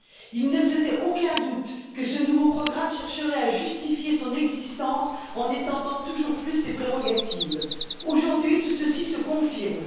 Il ne faisait aucun doute que ce nouveau programme chercherait à justifier son existence en étendant toujours plus ses prérogatives. Aujourd'hui, tout ceci se confirme.